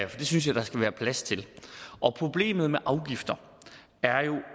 det synes jeg der skal være plads til problemet med afgifter er jo